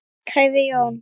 Kæri Jón.